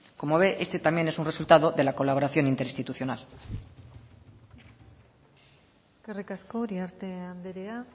como ve este también es un resultado de la colaboración interinstitucional eskerrik asko uriarte andrea